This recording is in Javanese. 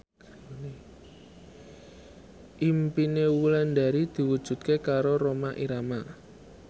impine Wulandari diwujudke karo Rhoma Irama